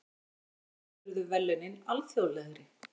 Annars vegar urðu verðlaunin alþjóðlegri.